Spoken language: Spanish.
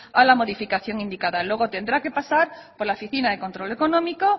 a la modificación indicada luego tendrá que pasar por la oficina de control económico